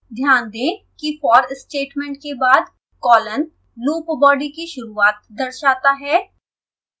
ध्यान दें कि for statement के बाद कॉलन loop body की शुरूआत दर्शाता है